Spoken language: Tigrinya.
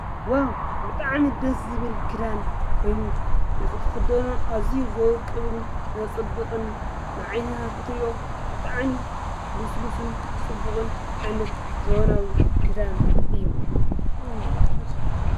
ዋው! ብጣዕሚ ደስ ዝብል ኽዳን ኮይኑ ንኽትኽደኖ ኣዝዩ ዘውቅብን ዘፅብቅን ናዓይንኻ ክትሪኦ ብጣዕሚ ልስሉስን ፅቡቕን ዓይነት ዘበናዊ ኽዳን እዩ።